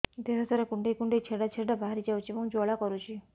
ଦେହ ସାରା କୁଣ୍ଡେଇ କୁଣ୍ଡେଇ ଛେଡ଼ା ଛେଡ଼ା ବାହାରି ଯାଉଛି ଏବଂ ଜ୍ୱାଳା କରୁଛି